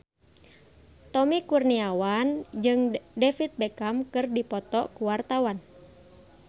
Tommy Kurniawan jeung David Beckham keur dipoto ku wartawan